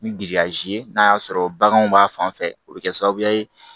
Ni giriyazi ye n'a y'a sɔrɔ baganw b'a fan fɛ o bɛ kɛ sababuya ye